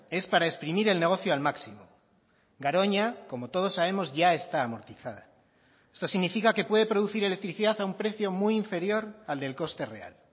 es para exprimir el negocio al máximo garoña como todos sabemos ya está amortizada esto significa que puede producir electricidad a un precio muy inferior al del coste real